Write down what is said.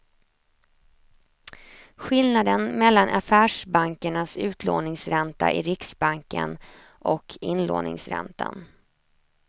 Skillnaden mellan affärsbankernas utlåningsränta i riksbanken och inlåningsräntan.